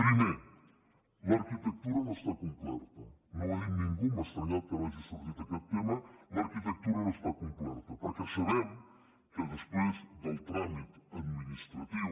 primer l’arquitectura no està completa no ho ha dit ningú m’ha estranyat que no hagi sortit aquest tema l’arquitectura no està completa perquè sabem que després del tràmit administratiu